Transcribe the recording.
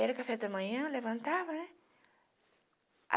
Era o café da manhã, levantava, né?